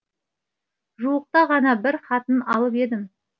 жуықта ғана бір хатын алып едім